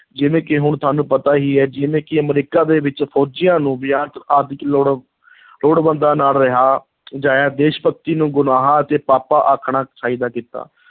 ਜਿਵੇਂ ਕਿ ਹੁਣ ਸਾਨੂੰ ਪਤਾ ਹੀ ਹੈ ਜਿਵੇਂ ਕਿ ਅਮਰੀਕਾ ਦੇ ਵਿੱਚ ਫ਼ੌਜੀਆਂ ਨੂੰ ਲੋੜਵੰਦਾਂ ਨਾਲ ਰਿਹਾ ਅਜਿਹੀ ਦੇਸ਼-ਭਗਤੀ ਨੂੰ ਗੁਨਾਹ ਅਤੇ ਪਾਪਾਂ ਆਖਣਾ ਚਾਹੀਦਾ ਕੀਤਾ।